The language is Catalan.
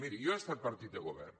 miri jo he estat partit de govern